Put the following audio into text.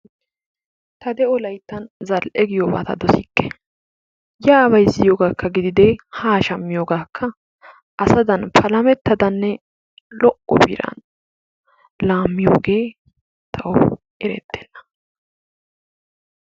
Ta de'o layttan zal"e giyooba ta dosikke. Yaa bayzziyoogaakka gididee haa shammiyoogaakka asadan palamettadanne lo"o biran laammiyooge tawu erettenna.